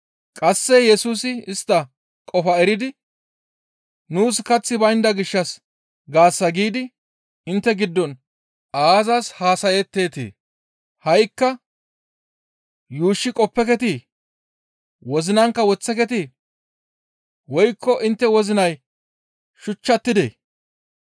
Qasse Yesusi istta qofaa eridi, «Nuus kaththi baynda gishshas gaasa giidi intte giddon aazas haasayetteetii? Ha7ikka yuushshi qoppeketii? Wozinankka woththekeetii? Woykko intte wozinay shuchchatidee?